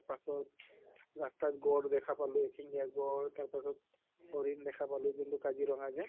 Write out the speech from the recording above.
পাছত ৰাস্তাত গড় দেখা পালো শিঙ্গিয়া গড় তাৰ পাছত হৰিণ দেখা পালো যোন টো কাজিৰঙ্গা যে